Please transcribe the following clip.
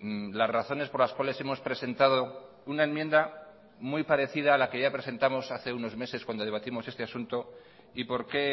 las razones por las cuales hemos presentado una enmienda muy parecida a la que ya presentamos hace unos meses cuando debatimos este asunto y por qué